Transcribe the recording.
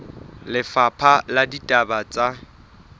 ba lefapha la ditaba tsa